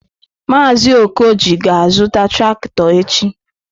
Maazị Okoji ga-azụta traktọ echi.